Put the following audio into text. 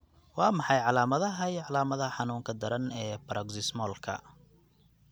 Waa maxay calaamadaha iyo calaamadaha xanuunka daran ee Paroxysmalka?